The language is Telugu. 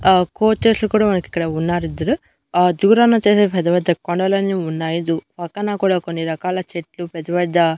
ఆ కోచర్స్ కూడా మనకిక్కడ ఉన్నారు ఇద్దరు ఆ దూరాన వచ్చేసి పెద్ద పెద్ద కొండలన్నీ ఉన్నాయి పక్కన కూడా కొన్ని రకాల చెట్లు పెద్ద పెద్ద.